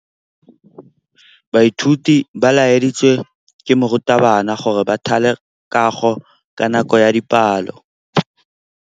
Baithuti ba laeditswe ke morutabana gore ba thale kagô ka nako ya dipalô.